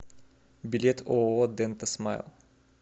билет ооо дента смайл